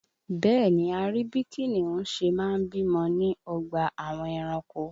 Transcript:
Bẹ́ẹ̀ni, a rí bí kìnìún ṣe máa ń bímọ ní ọgbà àwọn ẹranko